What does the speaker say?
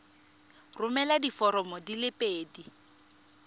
romela diforomo di le pedi